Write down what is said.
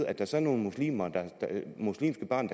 at der så er nogle muslimske børn